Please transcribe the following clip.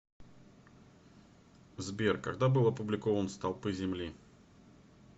сбер когда был опубликован столпы земли